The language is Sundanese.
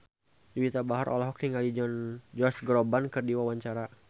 Juwita Bahar olohok ningali Josh Groban keur diwawancara